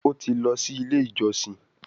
o tí lọ sì ilé ìjósìn.